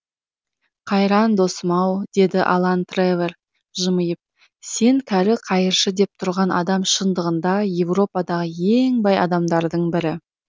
қайран досым ау деді алан трэвор жымиып сен кәрі қайыршы деп тұрған адам шындығында еуропадағы ең бай адамдардың бірі